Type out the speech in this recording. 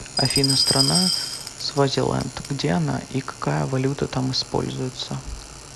афина страна свазиленд где она и какая валюта там используется